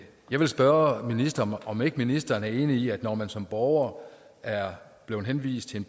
jeg vil spørge ministeren om ikke ministeren er enig i at når man som borger er blevet henvist til